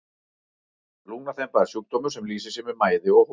lungnaþemba er sjúkdómur sem lýsir sér með mæði og hósta